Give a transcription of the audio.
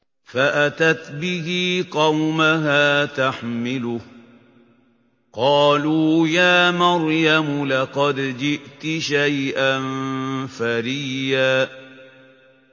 فَأَتَتْ بِهِ قَوْمَهَا تَحْمِلُهُ ۖ قَالُوا يَا مَرْيَمُ لَقَدْ جِئْتِ شَيْئًا فَرِيًّا